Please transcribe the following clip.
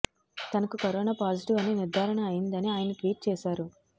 తనకు corona positive అని నిర్ధారణ అయిందని ఆయన ట్వీట్ చేశారు